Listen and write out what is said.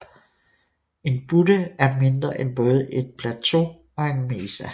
En butte er mindre end både et plateau og en mesa